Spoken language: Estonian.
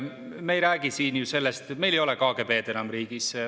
Meil ei ole KGB‑d enam riigis.